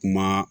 Kuma